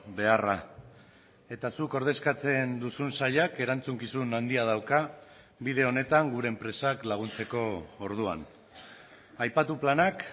beharra eta zuk ordezkatzen duzun sailak erantzukizun handia dauka bide honetan gure enpresak laguntzeko orduan aipatu planak